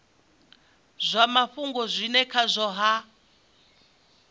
zwa mafhungo zwine khazwo ha